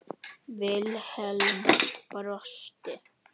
Vilhelm brosti.